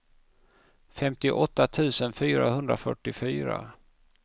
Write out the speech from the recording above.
femtioåtta tusen fyrahundrafyrtiofyra